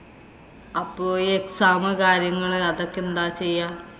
അപ്പൊ exam, കാര്യങ്ങള് അതൊക്കെ എന്താ ചെയ്യാ?